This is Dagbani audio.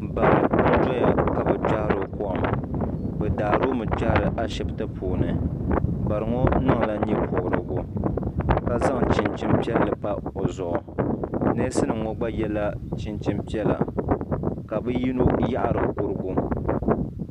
Bari n doya ka bɛ kpehiri o kom bɛ daari o mi n kpehiri ashipti puuni bariŋɔ niŋla nyɛpobrigu ka zaŋ chinchini piɛlli pa o zuɣu neesi nima ŋɔ gba yela chinchini piɛlla ka bɛ yino yaɣari kurugu.